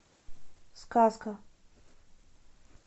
сказка